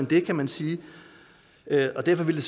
det kan man sige og derfor ville